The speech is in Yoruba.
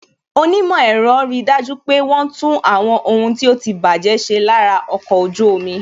Onímò ẹ̀rọ ri dájú pé wọn tún àwọn ohun tí ó ti baje ṣe lára ọkọ̀ ojú omi